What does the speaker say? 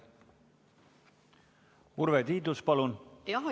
Urve Tiidus, palun!